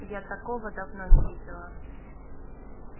я такого давно не видела